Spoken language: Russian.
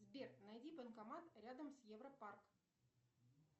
сбер найди банкомат рядом с европарк